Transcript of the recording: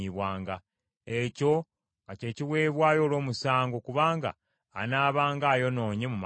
Ekyo nga kye kiweebwayo olw’omusango, kubanga anaabanga ayonoonye mu maaso ga Mukama .”